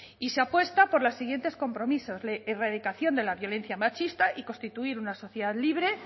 y se apuesta por los siguientes compromisos erradicación de la violencia machista y constituir una sociedad libre